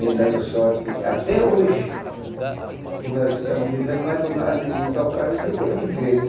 Vem dando sorte, até hoje, que nós estamos vivendo mais do lado de tocar do que de emprego.